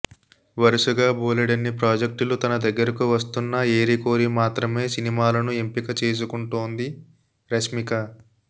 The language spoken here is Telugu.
వరుసగా బోలెడన్ని ప్రాజెక్టులు తన దగ్గరకు వస్తున్నా ఏరికోరి మాత్రమే సినిమాలను ఎంపికచేసుకుంటోంది రష్మిక